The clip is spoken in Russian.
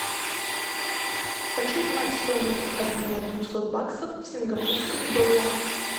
хочу знать стоимость обмена двухсот баксов в сингапурских долларах